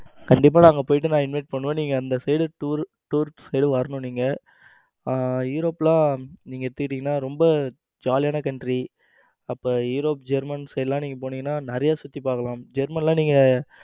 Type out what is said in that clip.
கண்டிப்பா நான் அங்க போயிட்டு நா invite பண்ணுவேன். நீங்க அந்த side tour tourist வரணும் நீங்க. ஆ europe ல எடுத்துக்கிட்டீங்கன்னா ரொம்ப ஜாலியான country அப்புறம் europe germans side எல்லாம் நீங்க போனீங்கன்னா நிறைய சுற்றி பார்க்கலாம். german எல்லாம் நீங்க